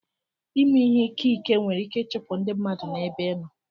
Ịmè ìhé ìké ìké nwèrè ìké ichụpụ ndị mmadụ n'ébé ị nọ